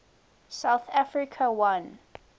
south africa won